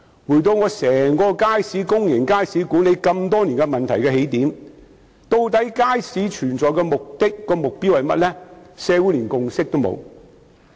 回到管理公眾街市多年來所面對的問題的起點，究竟設立街市的目的和目標是甚麼？